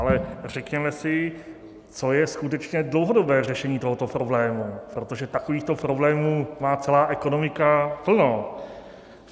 Ale řekněme si, co je skutečně dlouhodobé řešení tohoto problému, protože takovýchto problémů má celá ekonomika plno.